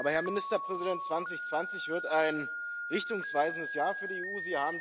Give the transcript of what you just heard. Aber, Herr Ministerpräsident, 2020 wird ein richtungsweisendes Jahr für die EU.